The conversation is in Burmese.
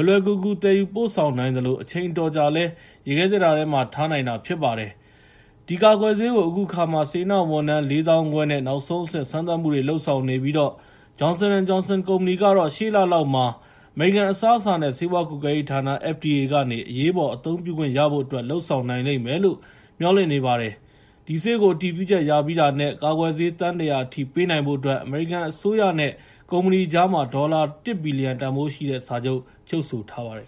ယ်လွယ်ကူကူ သယ်ယူပို့ဆောင်နိုင်သလို အချိန်အတော်ကြာလည်း ရေခဲသေတ္တာထဲမှာ ထားနိုင်တာဖြစ်ပါတယ်။ ဒီကာကွယ်ဆေးကို အခုအခါမှာ စေတနာ့ဝန်ထမ်း ၄၅,၀၀၀ နဲ့ နောက်ဆုံးအဆင့် စမ်းသပ်မှုတွေ လုပ်ဆောင်နေပြီး Johnson & Johnson ကုမ္ပဏီကတော့ ရှေ့လလောက်မှာ အမေရိကန်အစားအစာနဲ့ ဆေးဝါးကွပ်ကဲရေးဌာန (FDA) ကနေ အရေးပေါ်အသုံးပြုခွင့်ရဖို့အတွက် လုပ်ဆောင်နိုင်လိမ့်မယ်လို့ မျှော်လင့်နေပါတယ်။ ဒီဆေးကို အတည်ပြုချက်ရပြီးတာနဲ့ ကာကွယ်ဆေး သန်း ၁၀၀ အထိ ပေးနိုင်ဖို့အတွက် အမေရိကန်အစိုးရနဲ့ ကုမ္ပဏီကြားမှာ ဒေါ်လာ ၁ ဘီလီယံ တန်ဖိုးရှိတဲ့ စာချုပ် ချုပ်ဆိုထားပါတယ်